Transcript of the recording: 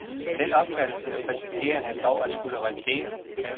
Den opfattelse risikerer han dog at skulle revidere.